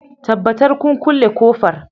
Tabbatar kun kulle ƙofar